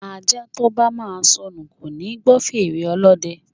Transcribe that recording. Ajá to bá máa sọnù kò leè gbọ́ fèrè ọlọ́dẹ